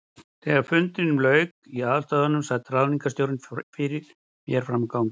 Þegar fundinum lauk í aðalstöðvunum, sat ráðningarstjóri fyrir mér frammi á gangi.